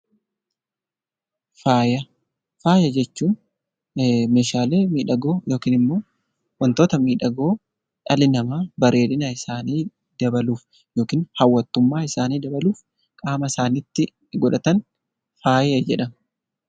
Faaya Faaya jechuun Meeshaalee miidhagoo yookiin immoo waantota miidhagoo dhalli namaa bareedina isaanii dabaluuf yookaan hawwattummaa isaanii dabaluuf qaama isaaniitti godhatan faaya jedhama.